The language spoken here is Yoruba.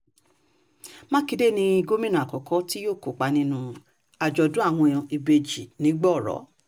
mákindé ni gómìnà àkọ́kọ́ tí yóò kópa nínú àjọ̀dún àwọn ìbejì nìgbọọrọ